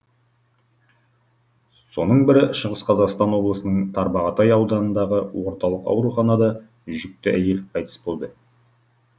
соның бірі шығыс қазақстан облысының тарбағатай ауданындағы орталық ауруханада жүкті әйел қайтыс болды